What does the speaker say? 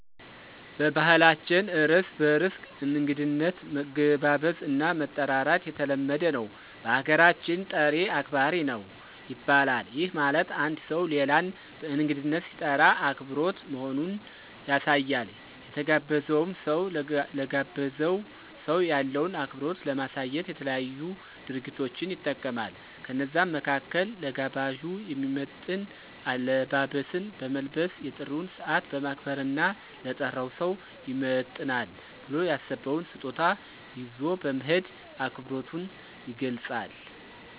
በባህላችን እርስ በርስ እንግድነት መገባበዝ እና መጠራራት የተለመደ ነው። በሀገራችን "ጠሪ አክባሪ ነው " ይባላል፤ ይህ ማለት አንድ ሠው ሌላን በእንግድነት ሲጠራ አክብሮት መሆኑን ያሳያል። የተጋበዘውም ሰው ለጋበዘው ሰው ያለውን አክብሮት ለማሳየት የተለያዩ ድርጊቶችን ይጠቀማል። ከነዛም መካከል ለጋባዡ የሚመጥን አለባበስን በመልበስ፣ የጥሪውን ሰዓት በማክበር እና ለጠራው ሰው ይመጥናል ብሎ ያሰበውን ስጦታ ይዞ በመሄድ አክብሮቱን ይገልፃል።